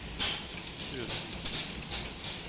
Fure